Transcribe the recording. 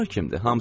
Bunlar kimdir?